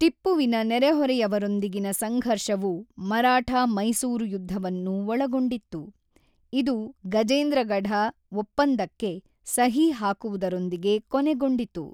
ಟಿಪ್ಪುವಿನ ನೆರೆಹೊರೆಯವರೊಂದಿಗಿನ ಸಂಘರ್ಷವು ಮರಾಠಾ-ಮೈಸೂರು ಯುದ್ಧವನ್ನು ಒಳಗೊಂಡಿತ್ತು, ಇದು ಗಜೇಂದ್ರಗಡ ಒಪ್ಪಂದಕ್ಕೆ ಸಹಿ ಹಾಕುವುದರೊಂದಿಗೆ ಕೊನೆಗೊಂಡಿತು.